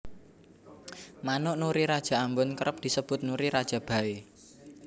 Manuk Nuri Raja Ambon kerep disebut Nuri Raja baé